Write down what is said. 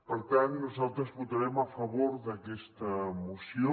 per tant nosaltres votarem a favor d’aquesta moció